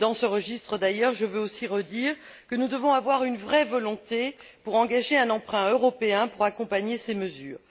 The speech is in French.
Dans ce registre, d'ailleurs, je veux aussi redire que nous devons avoir une vraie volonté pour engager un emprunt européen pour accompagner ces mesures.